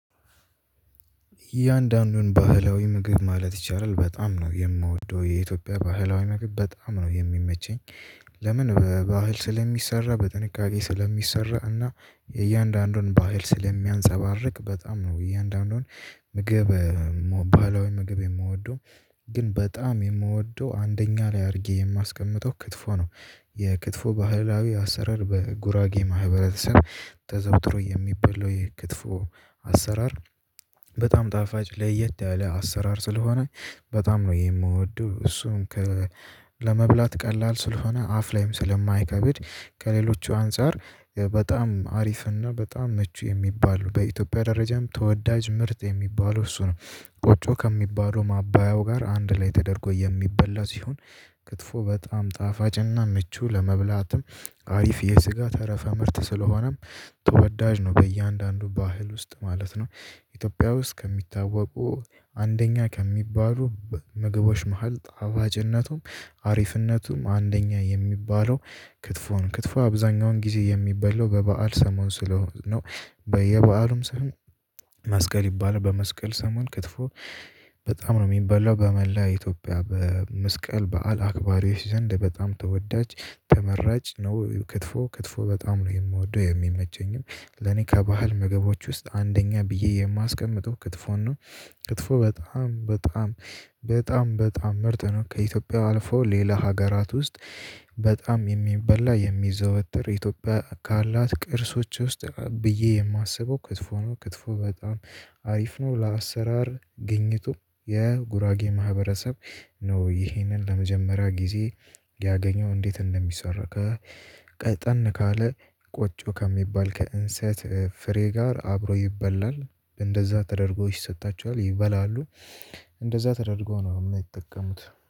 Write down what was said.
እያንዳንዱን ባህላዊ ምግብ ማለት ይቻላል በጣም ነው የምወደው የኢትዮጵያ ባህላዊ ምግብ በጣም ነው የሚመቸኝ። ለምን በባህል ስለሚሰራ በጥንቃቄ ስለሚሰራ እና እያንዳንዱን ባህል ስለሚያንፀባርቅ በጣም ነው። እያንዳንዱን ምግብ ባህላዊ ምግብ የምወደው። ግን በጣም የምወደው አንደኛ ላይ አድርጌ የማስቀምጠው ክትፎ ነው። የክትፎ ባህላዊ አሰራር በጉራጌ ማህበረሰብ ተዘውትሮ የሚበላው የክትፎ አሰራር። በጣም ጣፋጭ ለየት ያለ አሰራር ስለሆነ በጣም ነው የምወደው። እሱን ከ ለመብላት ቀላል ስለሆነ አፍ ላይም ስለማይከብድ ከሌሎቹ አንፃር በጣም አሪፍና በጣም ምቹ የሚባሉ በኢትዮጵያ ደረጃም ተወዳጅ ምርጥ የሚባለው እሱ ነው። ቆጮ ከሚባሉ ማባያው ጋር አንድ ላይ ተደርጎ የሚበላ ሲሆን። ክትፎ በጣም ጣፋጭና ምቹ ለመብላትም አሪፍ የስጋ ተረፈ ምርት ስለሆነም ተወዳጅ ነው በእያንዳንዱ ባህል ውስጥ ማለት ነው። ኢትዮጵያ ውስጥ ከሚታወቁ አንደኛ ከሚባሉ ምግቦች መሃል ጣፋጭነቱም አሪፍነቱም አንደኛ የሚባለው። ክትፎን ክትፎ አብዛኛውን ጊዜ የሚበላው በበዓል ሰሞን ስለሆነ ነው። በየበዐሉም ስም መስቀል ይባላል በመስቀል ሰሞን ክትፎ በጣም ነው የሚበላው በመላ ኢትዮጵያ በመስቀል በዓል አክባሪዎች ዘንድ በጣም ተወዳጅ። ተመራጭ ነው ክትፎ ክትፎ በጣም ነው የምወደው የሚመቸኝም ለኔ ከባህል ምግቦች ውስጥ አንደኛ ብዬ የማስቀምጠው ክትፎን ነው። ክትፎ በጣም በጣም በጣም በጣም ምርጥ ነው። ከኢትዮጵያ አልፎ ሌላ ሀገራት ውስጥ በጣም የሚበላ የሚዘወትር ኢትዮጵያ ካላት ቅርሶች ውስጥ ብዬ የማስበው ክትፎ ነው። ክትፎ በጣም አሪፍ ነው። ለአሰራር ግኝቱ የጉራጌ ማህበረሰብ ነው። ይህንን ለመጀመሪያ ጊዜ ያገኘው እንዴት እንደሚሰራ? ቀጠን ካለ ቆጮ ከሚባል ከእንሰት ፍሬ ጋር አብሮ ይበላል እንደዛ ተደርጎ ይሰጣችኋል ይበላሉ። እንደዛ ተደርጎ ነው የሚጠቀሙት